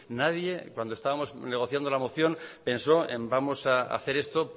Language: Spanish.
nadie cuando estábamos negociando la moción pensó en vamos a hacer esto